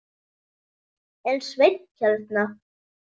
Er Sveinn hérna?